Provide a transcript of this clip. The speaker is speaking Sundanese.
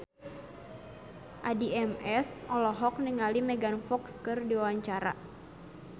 Addie MS olohok ningali Megan Fox keur diwawancara